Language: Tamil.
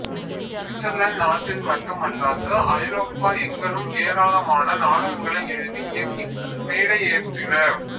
சுவிட்சர்லாந்து நாட்டில் மட்டுமல்லாது ஐரோப்பா எங்கணும் ஏராளமான நாடகங்களை எழுதி இயக்கி மேடையேற்றினார்